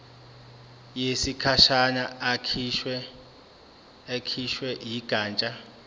yesikhashana ekhishwe yigatsha